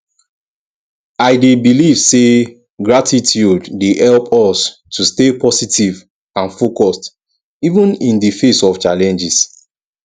i dey believe say gratitude dey help us to stay positive and focused even in di face of challenges